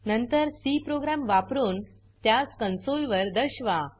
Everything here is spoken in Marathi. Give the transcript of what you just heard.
नंतर सी प्रोग्राम वापरुन त्यास कॉन्सोल वर दर्शवा